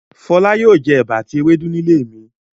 Fọlá yóò jẹ ẹ̀bà àti ewédú nílé mi.